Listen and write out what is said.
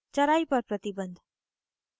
चराई पर प्रतिबन्ध